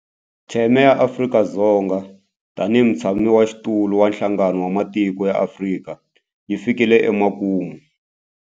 Theme ya Afrika-Dzonga tanihi mutshamaxitulu wa Nhlangano wa Matiko ya Afrika yi fikile emakumu.